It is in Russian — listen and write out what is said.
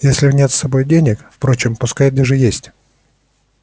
если нет с собой денег впрочем пускай даже есть